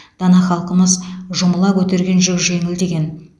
дана халқымыз жұмыла көтерген жүк жеңіл деген